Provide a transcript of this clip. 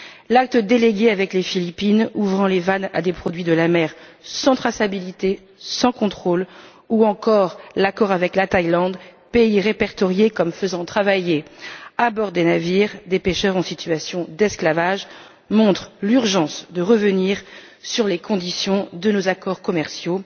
L'acte délégué avec les Philippines ouvrant les vannes à des produits de la mer sans traçabilité ni contrôle ou encore l'accord avec la Thaïlande, pays répertorié comme faisant travailler des pêcheurs en situation d'esclavage à bord des navires, montrent l'urgence de revenir sur les conditions de nos accords commerciaux,